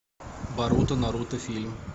боруто наруто фильм